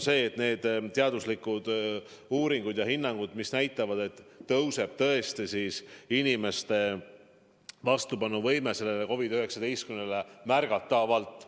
Teaduslikud uuringud näitavad, et selleks ajaks tõuseb inimeste vastupanuvõime COVID-19-le märgatavalt.